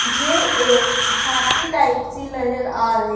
मुझे एक झांकी टाइप सी नजर आ रही--